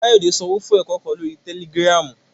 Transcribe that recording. Kayode sanwo fun ẹkọ kan lori Tẹlìgìrámu